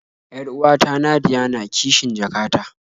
Yar'uwata Nadia na kishn jaka ta